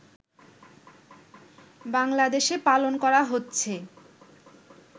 বাংলাদেশে পালন করা হচ্ছে